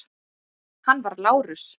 Hann var Lárus